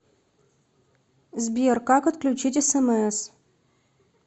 сбер как отключить смс